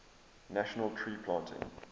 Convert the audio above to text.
national tree planting